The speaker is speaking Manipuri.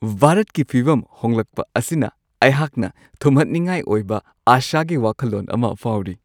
ꯚꯥꯔꯠꯀꯤ ꯐꯤꯚꯝ ꯍꯣꯡꯂꯛꯄ ꯑꯁꯤꯅ ꯑꯩꯍꯥꯛꯅ ꯊꯨꯝꯍꯠꯅꯤꯡꯉꯥꯏ ꯑꯣꯏꯕ ꯑꯥꯁꯥꯒꯤ ꯋꯥꯈꯜꯂꯣꯟ ꯑꯃ ꯐꯥꯎꯔꯤ꯫